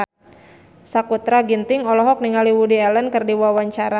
Sakutra Ginting olohok ningali Woody Allen keur diwawancara